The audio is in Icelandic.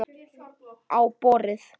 Á borðið.